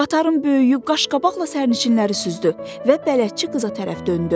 Qatarın böyüyü qaşqabaqla sərnişinləri süzdü və bələdçi qıza tərəf döndü.